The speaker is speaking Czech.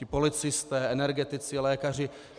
Ti policisté, energetici, lékaři.